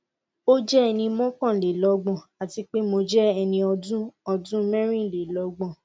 o jẹ ẹni mọkanlelọgbọn ati pe mo jẹ ẹni ọdun ọdun mẹrinlelọgbọn